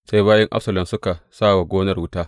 Sai bayin Absalom suka sa wa gonar wuta.